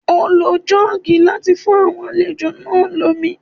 Ó lo Jọ́ọ́gì láti fún àwọn àlejò náà lómi